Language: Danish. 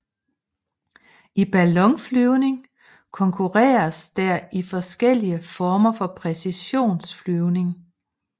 I ballonflyvning konkurreres der i forskellige former for præcisionsflyvning